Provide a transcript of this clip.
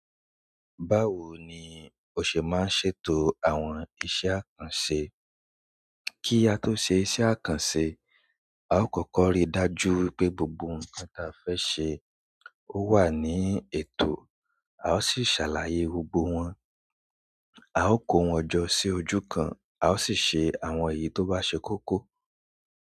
Báwo ni o ṣe máa ń ṣètò àwọn iṣẹ́ kàn ṣe? Kí ato ṣe iṣẹ́ àkànṣe a ó kọ́kọ́ rí dájú wípé gbogbo ǹkan ta fẹ́ ṣe owa ni ètò a sì sa la yẹ gbọ́ gbọ́ wọn. A ó kó wọn jọ sí ojú kan a ó sì ṣe àwọn èyí tó bá ṣe kókó.